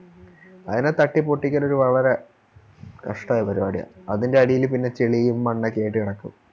അതിനെ തട്ടിപ്പൊട്ടിക്കലൊരു വളരെ കഷ്ട്ടമായ പരിപാടിയ അതിൻറെ അടിയില് പിന്നെ ചെളിയും മണ്ണൊക്കെയായിട്ട് കെടക്കും